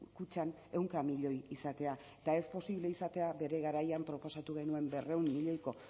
kutxan ehunka milioi izatea eta ez posible izatea bere garaian proposatu genuen berrehun milioiko